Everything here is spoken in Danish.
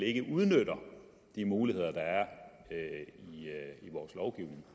ikke udnytter de muligheder der er i vores lovgivning